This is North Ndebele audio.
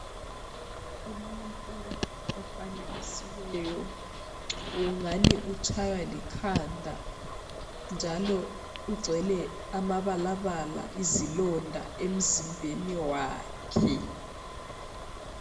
Umuntu ofanekisiweyo ungani utshaywa likhanda njalo ugcwele amabalabala izilonda emzimbeni wakhe.